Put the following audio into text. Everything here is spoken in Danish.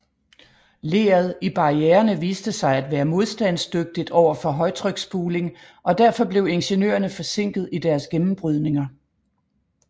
Leret i barriererne viste sig at være modstandsdygtigt overfor højtryksspuling og derfor blev ingeniørerne forsinket i deres gennembrydninger